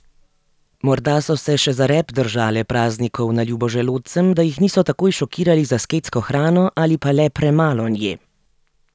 Morda so se še za rep držale praznikov na ljubo želodcem, da jih niso takoj šokirali z asketsko hrano ali pa le premalo nje.